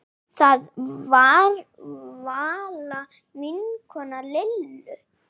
Það var Vala vinkona Lillu.